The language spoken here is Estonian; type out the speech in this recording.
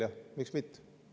Ja miks mitte?